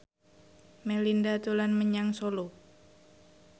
Melinda dolan menyang Solo